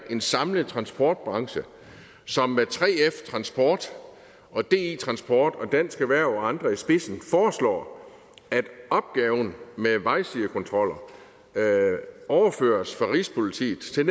en samlet transport branche som med 3f transport og di transport og dansk erhverv og andre i spidsen foreslår at opgaven med vejsidekontrol overføres fra rigspolitiet til